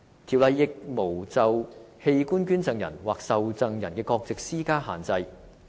《條例》亦沒有就器官捐贈人或受贈人的國籍施加限制。